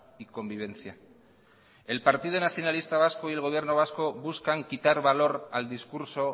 y convivencia el partido nacionalista vasco y el gobierno vasco buscan quitar valor al discurso